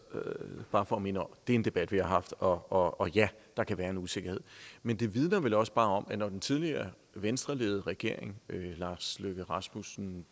bare for at minde om det er en debat vi har haft og ja der kan være en usikkerhed men det vidner vel også bare om at når den tidligere venstreledede regering lars løkke rasmussen